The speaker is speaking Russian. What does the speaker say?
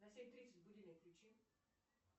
на семь тридцать будильник включи